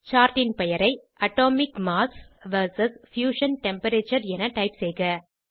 chart ன் பெயரை atomic mass vs fusion temperature என டைப் செய்க